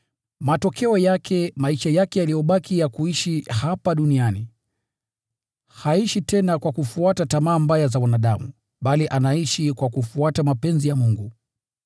Kwa hivyo, haishi maisha yake yaliyobaki ya kuishi hapa duniani kwa tamaa mbaya za wanadamu, bali anaishi kwa mapenzi ya Mungu.